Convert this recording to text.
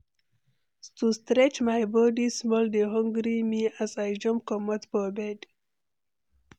To stretch my body small dey hungry me as I jump comot for bed.